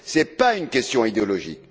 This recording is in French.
Ce n'est pas une question idéologique.